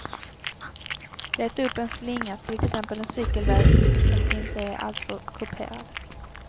Leta upp en slinga, till exempel en cykelväg som inte är alltför kuperad.